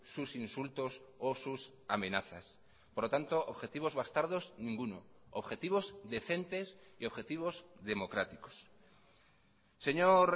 sus insultos o sus amenazas por lo tanto objetivos bastardos ninguno objetivos decentes y objetivos democráticos señor